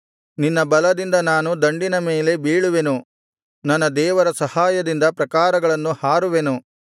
ನಿನ್ನ ಬಲದಿಂದ ನಾನು ದಂಡಿನ ಮೇಲೆ ಬೀಳುವೆನು ನನ್ನ ದೇವರ ಸಹಾಯದಿಂದ ಪ್ರಾಕಾರಗಳನ್ನು ಹಾರುವೆನು